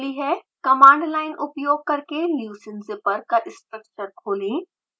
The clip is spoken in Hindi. कमांड लाइन उपयोग करके leucine zipper का स्ट्रक्चर खोलें